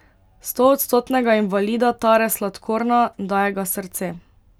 Stoodstotnega invalida tare sladkorna, daje ga srce.